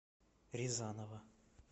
резанова